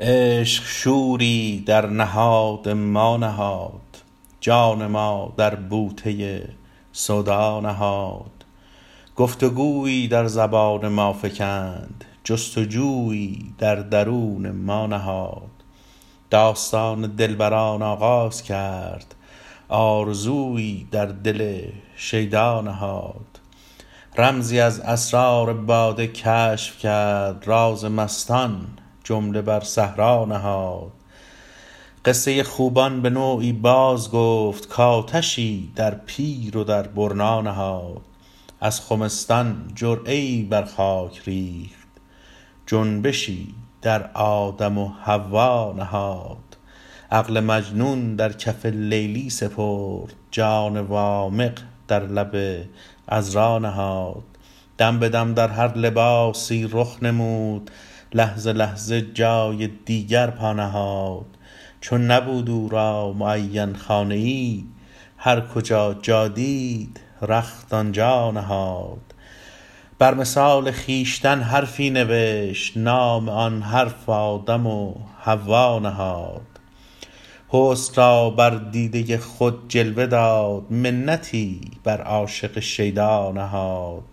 عشق شوری در نهاد ما نهاد جان ما در بوته سودا نهاد گفتگویی در زبان ما فکند جستجویی در درون ما نهاد داستان دلبران آغاز کرد آرزویی در دل شیدا نهاد رمزی از اسرار باده کشف کرد راز مستان جمله بر صحرا نهاد قصه خوبان به نوعی باز گفت کآتشی در پیر و در برنا نهاد از خمستان جرعه ای بر خاک ریخت جنبشی در آدم و حوا نهاد عقل مجنون در کف لیلی سپرد جان وامق در لب عذرا نهاد دم به دم در هر لباسی رخ نمود لحظه لحظه جای دیگر پا نهاد چون نبود او را معین خانه ای هر کجا جا دید رخت آنجا نهاد بر مثال خویشتن حرفی نوشت نام آن حرف آدم و حوا نهاد حسن را بر دیده خود جلوه داد منتی بر عاشق شیدا نهاد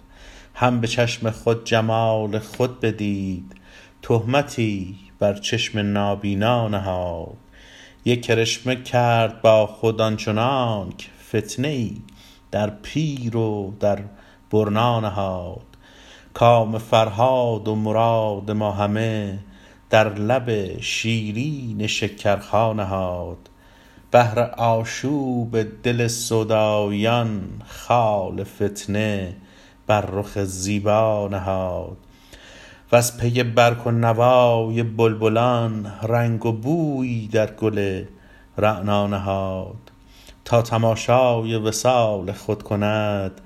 هم به چشم خود جمال خود بدید تهمتی بر چشم نابینا نهاد یک کرشمه کرد با خود آنچنانک فتنه ای در پیر و در برنا نهاد کام فرهاد و مراد ما همه در لب شیرین شکرخا نهاد بهر آشوب دل سوداییان خال فتنه بر رخ زیبا نهاد وز پی برگ و نوای بلبلان رنگ و بویی در گل رعنا نهاد تا تماشای وصال خود کند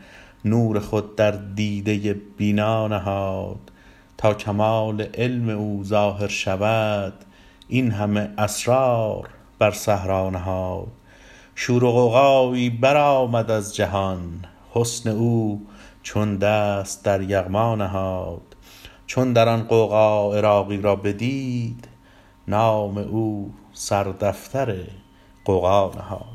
نور خود در دیده بینا نهاد تا کمال علم او ظاهر شود این همه اسرار بر صحرا نهاد شور و غوغایی برآمد از جهان حسن او چون دست در یغما نهاد چون در آن غوغا عراقی را بدید نام او سر دفتر غوغا نهاد